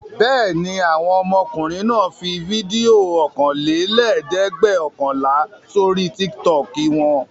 Bẹ́ẹ̀ ni, àwọn ọmọkùnrin náà fi fídíò ọ̀kanlẹ́ẹ̀dẹ́gbẹ̀ọ̀kànlá sórí Tiktok wọn.